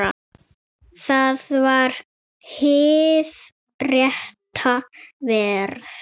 Það var hið rétta verð.